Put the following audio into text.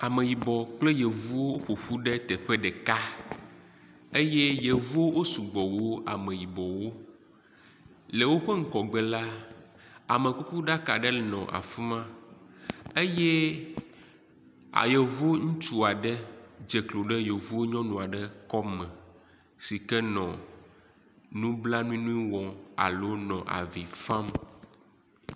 Ameyibɔ kple yevuwo ƒoƒu ɖe teƒe ɖeka eye yevuwo wo sugbɔ wu ameyibɔwo, le woƒe ŋgɔgbe la, amekukuɖaka aɖe nɔ afima eye ayevo ŋutsu aɖe dze klo ɖe yevo nyɔnu aɖe Lome sike nɔ nublanui nu wɔm alo nɔ avi fam.